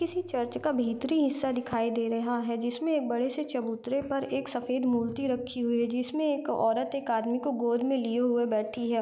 किसी चर्च का भीतरी हिस्सा दिखाई दे रेहा है जिसमे एक बड़े से चबूतरे पर एक सफेद मूर्ति रखी हुई है जिसमे एक औरत एक आदमी को गोद मे लिए हुए बैठी है।